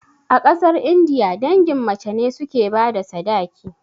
A ƙasar indiya, dangin mace ne suke bada sadaki